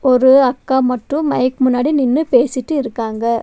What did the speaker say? ஒரு அக்கா மட்டும் நின்னு மைக் முன்னாடி நின்னு பேசிட்டு இருக்காங்க.